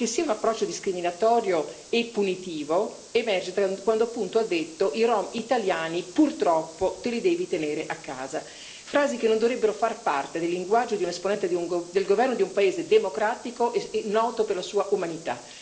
Perché, il fatto che sia un approccio discriminatorio e punitivo emerge quando, appunto, ha detto che i rom italiani, purtroppo, te li devi tenere a casa, frasi che non dovrebbero far parte del linguaggio di un esponente del governo di un paese democratico e noto per la sua umanità.